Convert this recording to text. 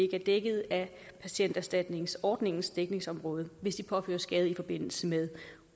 er dækket af patienterstatningsordningens dækningsområde hvis de påføres skade i forbindelse med